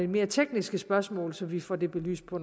mere tekniske spørgsmål så vi får dem belyst på